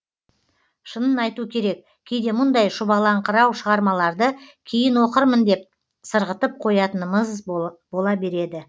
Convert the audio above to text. шынын айту керек кейде мұндай шұбалаңқырау шығармаларды кейін оқырмын деп сырғытып қоятынымыз бола береді